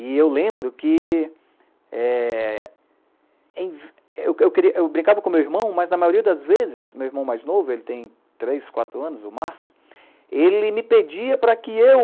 E eu lembro que, é... eu brincava com o meu irmão, mas na maioria das vezes, meu irmão mais novo, ele tem três, quatro anos, o Márcio, ele me pedia para que eu